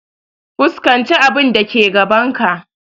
Fuskanci abun da ke gaban ka!